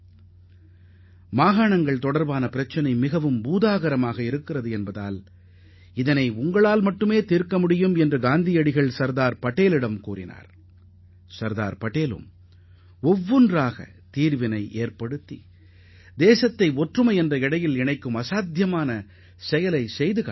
ஒற்றை நூலைக் கொண்டு இயங்கும் அச்சின் மூலம் போர்வையை நெசவு செய்வது போல நாட்டை ஒருங்கிணைக்க சர்தார் பட்டேல் ஒவ்வொரு பிரச்சினையாக கையில் எடுத்து தீர்வுகண்டார்